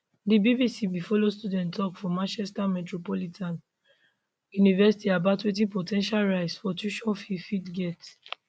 di bbc bin follow student tok for manchester metropolitan university about wetin po ten tial rise for tuition fees fit get